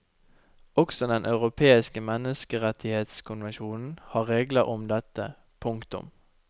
Også den europeiske menneskerettighetskonvensjonen har regler om dette. punktum